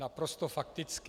Naprosto fakticky.